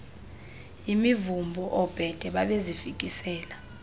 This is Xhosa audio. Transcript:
yimivumbo oobhede babezifikisela